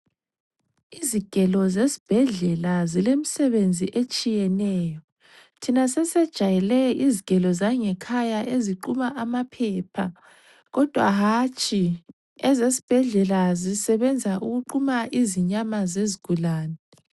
Izigelo zesibhedlela zilemsebenzi etshiyeneyo. Thina sesejayele izigelo zangekhaya eziquma amaphepha kodwa hatshi ezesibhedlela zisebenza ukuquma izinyama zezigulane.